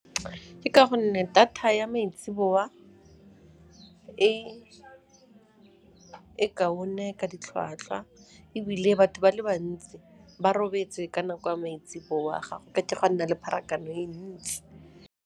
Ke ka gonne data ya maitsiboa e kaone ka ditlhwatlhwa ebile batho ba le bantsi ba robetse ka nako ya maitsiboa, ga go ka ke go a nna le pharakano e ntsi.